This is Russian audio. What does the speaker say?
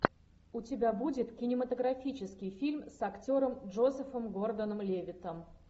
у тебя будет кинематографический фильм с актером джозефом гордоном левиттом